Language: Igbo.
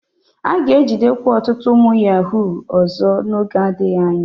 A ga-ejidekwa ọtụtụ ụmụ yahuu ọzọ n'oge adịghị anya.